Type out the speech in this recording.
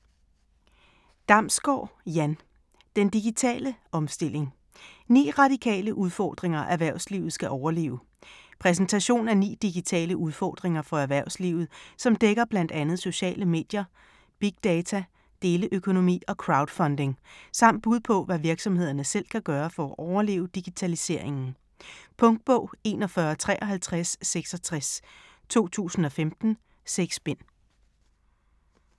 Damsgaard, Jan: Den digitale omstilling: 9 radikale udfordringer erhvervslivet skal overleve Præsentation af ni digitale udfordringer for erhvervslivet, som dækker bl.a. sociale medier, big data, deleøkonomi og crowdfunding, samt bud på hvad virksomhederne selv kan gøre for at overleve digitaliseringen. Punktbog 415366 2015. 6 bind.